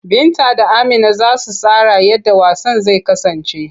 Binta da Amina za su tsara yadda wasan zai kasance.